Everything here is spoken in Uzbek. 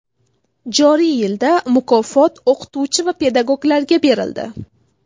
Joriy yilda mukofot o‘qituvchi va pedagoglarga berildi.